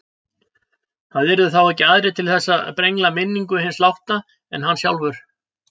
Það yrðu þá ekki aðrir til þess að brengla minningu hins látna en hann sjálfur.